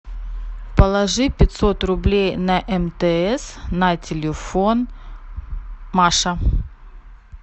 положи пятьсот рублей на мтс на телефон маша